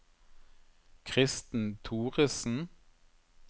Kristen Thoresen